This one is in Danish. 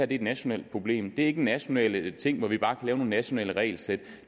et nationalt problem det er ikke en national ting hvor vi bare lave nogle nationale regelsæt